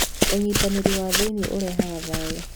ũnyitanĩri wa thĩiniĩ ũrehaga thayũ.